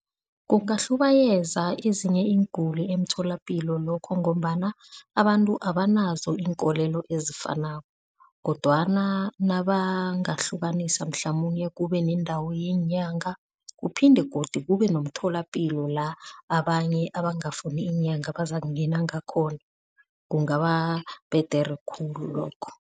Kungahlubayeza ezinye iinguli emtholapilo lokho ngombana abantu abanazo iinkolelo ezifanako, kodwana nabangahlukanisa mhlamunye kube neendawo yeenyanga kuphinde godu kube nomtholapilo la abanye abangafuni iinyanga bazakungena ngakhona, kungababhedere khulu lokho.